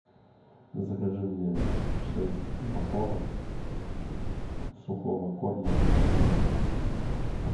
закажи мне шесть упаковок сухого корма феликс